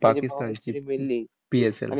पाकिस्तानची PSL